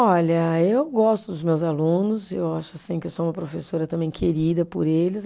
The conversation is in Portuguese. Olha, eu gosto dos meus alunos, eu acho assim que eu sou uma professora também querida por eles.